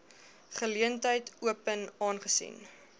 geleentheid open aangesien